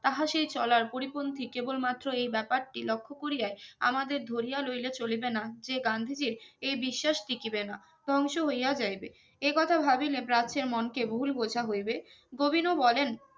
তাহা সেই চলার পরিপন্থী কেবল মাত্র এই ব্যাপারটি লক্ষ্য করিয়ায় আমাদের ধরিয়া লইলে চোলিবেনা যে গান্ধীজির এই বিশ্বাস টিকি বেনা ধ্বংস হইয়া যাইবে এই কথা ভাবিলে প্রাচ্যে মনকে ভুল বোঝা হইবে গোবিনো বলেন